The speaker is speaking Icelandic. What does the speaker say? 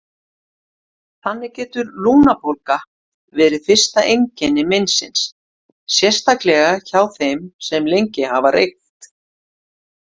Þannig getur lungnabólga verið fyrsta einkenni meinsins, sérstaklega hjá þeim sem lengi hafa reykt.